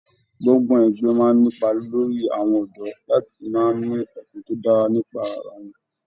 Gbọ́ngbọ̀n ẹgbẹ máa n'ipa lórí àwọn ọdọ láti má ní ọkàn tó dára nípa ará wọn.